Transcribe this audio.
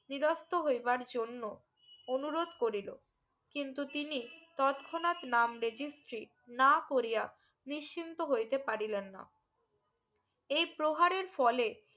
নিদ্রস্ত্র জন্য অনুরোধ করিলো কিন্তু তিনি তৎক্ষণাৎ নাম registry না করিয়া নিশ্চিন্ত হইতে পারিলেন না এই প্রহারের ফলে